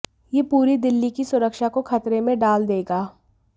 यह पूरी दिल्ली की सुरक्षा को खतरे में डाल देगा